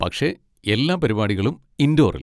പക്ഷെ എല്ലാ പരിപാടികളും ഇൻഡോറിൽ.